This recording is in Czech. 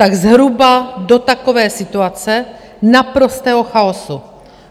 Tak zhruba do takové situace naprostého chaosu